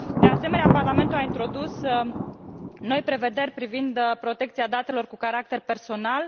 De asemenea, Parlamentul a introdus noi prevederi privind protecția datelor cu caracter personal.